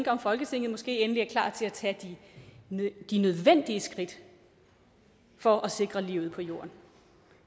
om folketinget måske endelig er klar til at tage de nødvendige skridt for at sikre livet på jorden